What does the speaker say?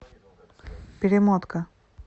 перемотка